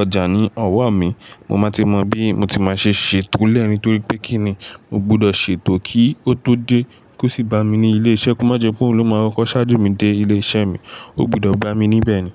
ọjà ní ọ̀wọ́ mi, mo máa ti mọ bí mo ti máa ṣe ṣètò lẹ́ ni Torí pé kí ni mo gbudọ̀ ṣètò kí ó tó dé kó sì bá mi ní ilé-iṣẹ́? Kó má jẹ pé òun ló máa ń kọkọ ṣáájú mi dé ilé-iṣẹ́ mi, ó gbudọ̀ gbá mi níbẹ̀ ni.